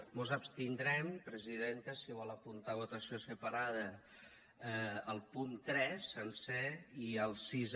mos abstindrem presidenta si vol apuntar votació separada al punt tres sencer i al sis